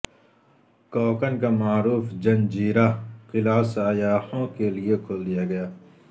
کوکن کا معروف جنجیرہ قلعہ سیاحوں کیلئے کھول دیا گیا